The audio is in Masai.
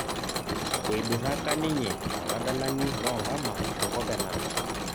Eiduraka ninye oladalni loonkama enkop e Narok